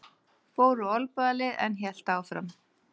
Fór úr olnbogalið en hélt áfram